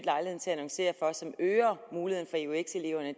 annoncere og som øger muligheden for eux eleverne